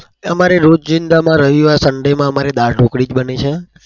અમારે રોજીંદામાં રવિવારે sunday માં અમારે દાલ ઢોકળી જ બને છે.